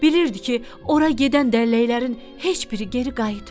Bilirdi ki, ora gedən dəlləklərin heç biri geri qayıtmır.